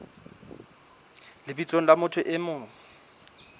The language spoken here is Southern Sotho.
lebitsong la motho e mong